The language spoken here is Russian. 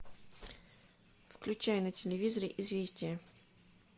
включай на телевизоре известия